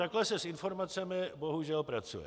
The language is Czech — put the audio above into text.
Takhle se s informacemi bohužel pracuje.